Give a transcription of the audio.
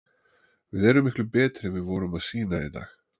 Við erum miklu betri en við vorum að sýna í dag.